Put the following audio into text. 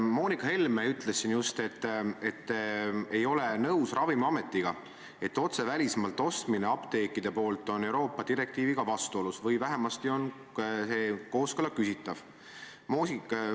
Moonika Helme ütles just, et ta ei ole nõus Ravimiametiga, et otse välismaalt ostmine apteekide poolt on Euroopa Liidu direktiiviga vastuolus või et vähemasti on kooskõla küsitav.